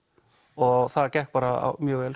og það gekk bara mjög vel